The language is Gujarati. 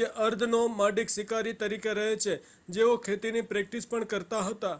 જે અર્ધ-નોમાડિક શિકારી તરીકે રહે છે જેઓ ખેતીની પ્રેક્ટિસ પણ કરતા હતા